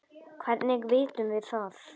Hvernig vitum við það?